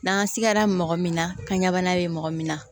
N'an sigara mɔgɔ min na kaɲa bana be mɔgɔ min na